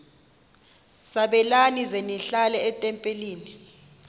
sabelani zenihlal etempileni